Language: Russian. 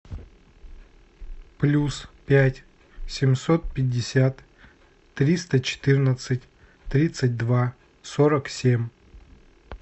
плюс пять семьсот пятьдесят триста четырнадцать тридцать два сорок семь